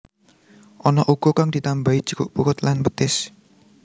Ana uga kang ditambahi jeruk purut lan petis